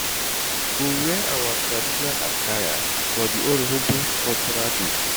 I go wear our traditional attire for di Urhobo cultural day.